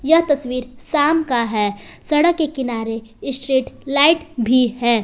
यह तस्वीर शाम का है सड़क के किनारे स्ट्रीटलाइट भी है।